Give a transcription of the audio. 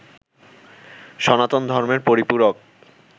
সনাতন ধর্মের পরিপূরক